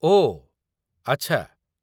ଓ ଆଚ୍ଛା।